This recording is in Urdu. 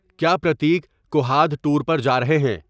کیا پرتیک کُہاد ٹور پر جا رہے ہیں